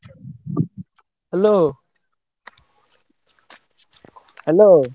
Hello hello।